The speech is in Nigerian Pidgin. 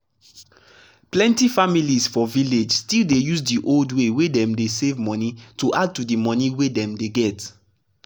plenty families for village still dey use di old way wey dem dey save money to add to di monie wey dem dey get.